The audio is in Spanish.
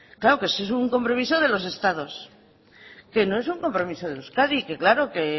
claro ese es un compromiso de los estados que no es un compromiso de euskadi que claro que